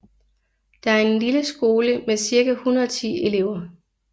Det er en lille skole med cirka 110 elever